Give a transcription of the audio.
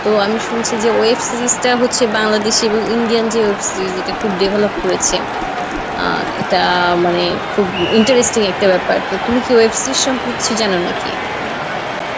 তো আমি শুনছি যে Web Series টা হচ্ছে বাংলাদেশী এবং Indian যে web series যেটা খুব development করেছে আহ এইটা মানে খুব interesting একটা ব্যাপার তো তুমি কি Web Series সম্পর্কে কিছু জানো নাকি?